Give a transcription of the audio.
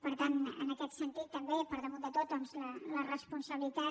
per tant en aquest sentit també per damunt de tot doncs la responsabilitat